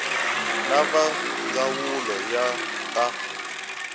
na va ndzawulo ya ta